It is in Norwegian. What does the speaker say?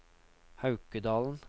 Haukedalen